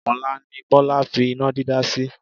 Ọ̀la ni Bọ́lá fi iná dídá sí.